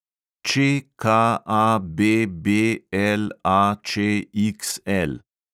ČKABBLAČXL